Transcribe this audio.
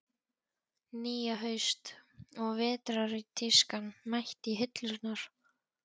Nýja haust- og vetrartískan mætt í hillurnar.